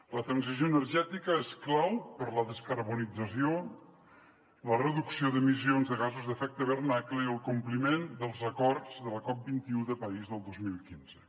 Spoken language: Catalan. la transició energètica és clau per a la descarbonització la reducció d’emissions de gasos d’efecte hivernacle i el compliment dels acords de la cop21 de parís del dos mil quinze